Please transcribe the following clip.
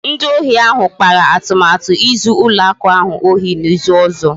Ndị ohi ahụ kpara atụmatụ izu ụlọ akụ ahụ ohi n'izu ọzọ